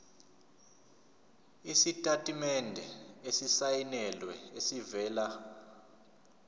isitatimende esisayinelwe esivela